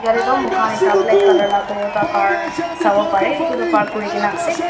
yatae toh moikhan ekta black colour laka toyata car sawo parae edu toh park kurikaena ase.